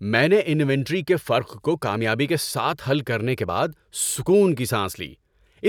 میں نے انوینٹری کے فرق کو کامیابی کے ساتھ حل کرنے کے بعد سکون کی سانس لی،